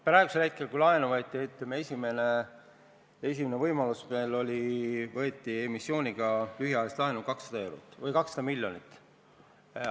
Praegusel hetkel, kui laenu võeti, sai emissiooniga võetud lühiajalist laenu 200 miljonit.